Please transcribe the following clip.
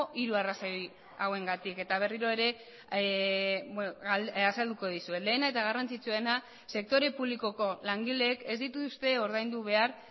hiru arrazoi hauengatik eta berriro ere azalduko dizuet lehena eta garrantzitsuena sektore publikoko langileek ez dituzte ordaindu behar